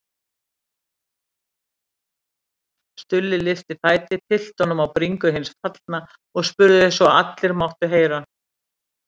Stulli lyfti fæti, tyllti honum á bringu hins fallna og spurði svo allir máttu heyra